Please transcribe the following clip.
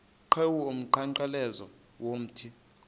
qhiwu umnqamlezo womthi